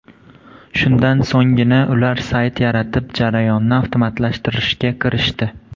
Shundan so‘nggina ular sayt yaratib, jarayonni avtomatlashtirishga kirishdi.